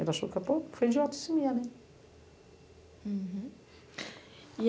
Ele achou que eu fui idiota. Uhum E